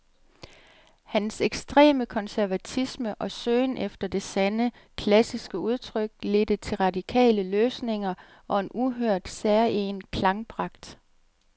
Hans ekstreme konservatisme og søgen efter det sande, klassiske udtryk ledte til radikale løsninger og en uhørt, særegen klangpragt.